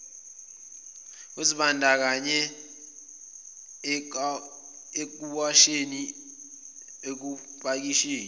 uzibandakanye ekuwasheni ekupakisheni